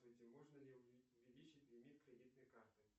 можно ли увеличить лимит кредитной карты